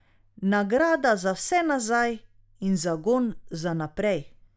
Nagrada za vse nazaj in zagon za naprej.